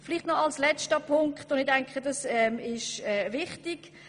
Noch einen letzten, wichtigen Punkt möchte ich anführen.